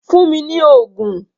Fún mi ni oògùn!